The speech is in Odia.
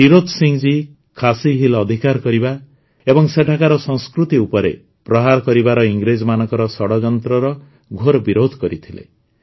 ଟିରୋତ୍ ସିଂ ଜୀ ଖାସି ହିଲ୍ସ ଅଧିକାର କରିବା ଏବଂ ସେଠାକାର ସଂସ୍କୃତି ଉପରେ ପ୍ରହାର କରିବାର ଇଂରେଜମାନଙ୍କର ଷଡ଼ଯନ୍ତ୍ରର ଘୋର ବିରୋଧ କରିଥିଲେ